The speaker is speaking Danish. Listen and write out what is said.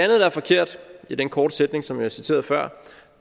der er forkert i den korte sætning som jeg citerede før